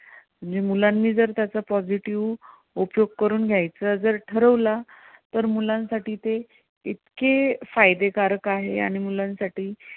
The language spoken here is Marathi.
म्हणजे मुलांनी जर त्याचा positive उपयोग करून घ्यायचा जर ठरवला तर मुलांसाठी ते इतके फायदे कारक आहे आणि मुलांसाठी